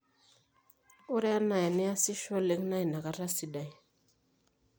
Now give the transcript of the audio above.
ore enaa eniasisho oleng naa inakata sidai